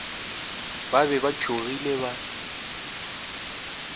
ba be ba tsogile ba